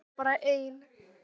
Ég var bara ein.